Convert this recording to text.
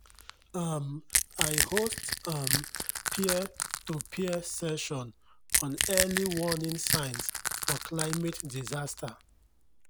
um i host um peer-to-peer session on early warning signs for climate disaster.